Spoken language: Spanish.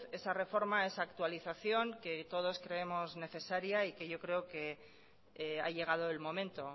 esa reforma esa actualización que todos creemos necesaria y que yo creo que ha llegado el momento